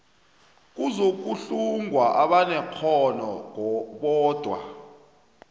kuzokuhlungwa abanekghono bodwa